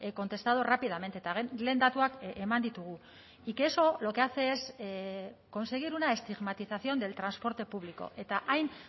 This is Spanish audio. contestado rápidamente eta lehen datuak eman ditugu y que eso lo que hace es conseguir una estigmatización del transporte público eta hain